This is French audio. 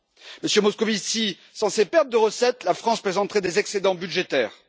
Monsieur Moscovici, sans ces pertes de recettes, la France présenterait des excédents budgétaires.